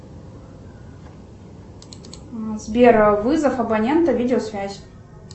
сбер вызов абонента видеосвязь